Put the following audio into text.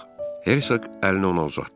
Hersoq əlini ona uzatdı.